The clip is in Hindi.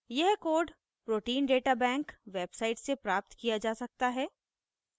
यह code protein data bank pdb website से प्राप्त किया जा सकता है